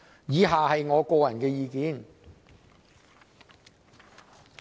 以下是我的個人意見。